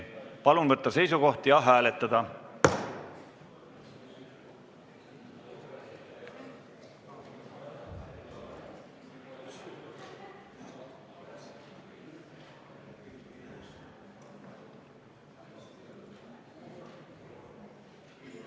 Palun võtta seisukoht ja hääletada!